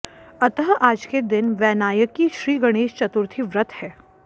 अतः आज के दिन वैनायकी श्री गणेश चतुर्थी व्रत है